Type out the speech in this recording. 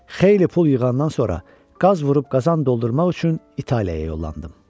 Xeyli pul yığandan sonra, qaz vurub qazan doldurmaq üçün İtaliyaya yollandım.